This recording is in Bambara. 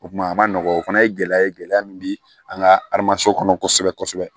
O kuma a ma nɔgɔ o fana ye gɛlɛya ye gɛlɛya min bɛ an ka aramaso kɔnɔ kosɛbɛ